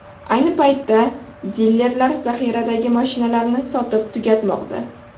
Ayni paytda dilerlar zaxiradagi mashinalarni sotib tugatmoqda.